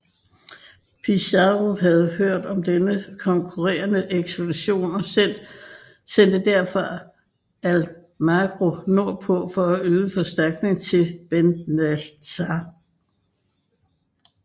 Pizarro havde hørt om denne konkurrerende ekspedition og sendte derfor Almagro nord på for at yde forstærkning til Benalcázar